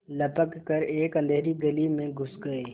लपक कर एक अँधेरी गली में घुस गये